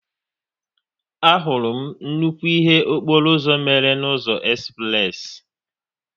A hụrụ m nnukwu ihe okporo ụzọ mmere n'ụzọ espress